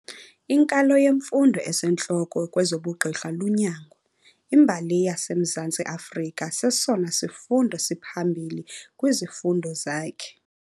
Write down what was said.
Inkalo yemfundo esentloko kwezobugqirha lunyango. imbali yaseMzantsi Afrika sesona sifundo siphambili kwizifundo zakhe